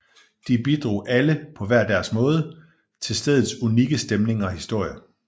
De bidrog alle på hver deres måde til stedets unikke stemning og historie